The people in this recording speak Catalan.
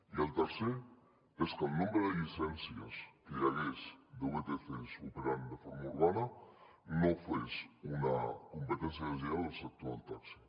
i el tercer és que el nombre de llicències que hi hagués de vtc operant de forma urbana no fes una competència deslleial al sector del taxi